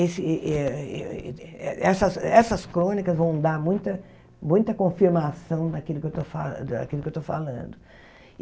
Esse eh eh eh essas essas crônicas vão dar muita muita confirmação daquilo que eu estou fa daquilo que eu estou falando.